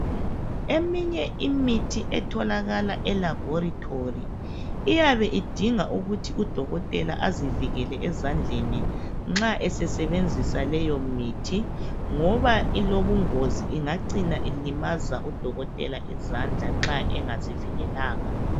Eminye imithi etholakala elaboratory iyabe idinga ukuthi udokotela azivikele ezandleni nxa esesebenzisa leyo mithi, ngoba ilobungozi ingacina ilimaza udokotela izandla nxa engazivikelanga.